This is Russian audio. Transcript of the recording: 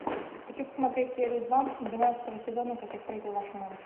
хочу посмотреть серию два двенадцатого сезона как я встретил вашу маму